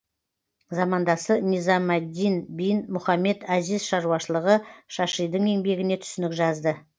замандасы низам әд дин бин мұхаммед азиз шаруашылығы шашидің еңбегіне түсінік жазды